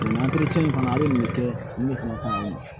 nin fana ye nin kɛ nin de fana ka